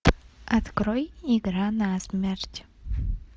открой игра на смерть